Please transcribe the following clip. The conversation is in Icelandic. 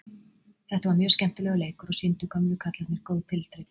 Þetta var mjög skemmtilegur leikur og sýndu gömlu kallarnir góð tilþrif.